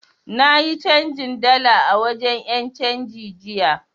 Na yi canjin dala a wajen 'yancanji jiya.